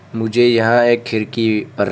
मुझे यहां एक खिड़की पर--